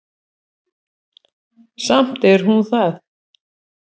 Samt er hún það.